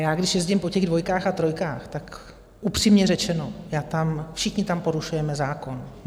Já když jezdím po těch dvojkách a trojkách, tak upřímně řečeno, všichni tam porušujeme zákon.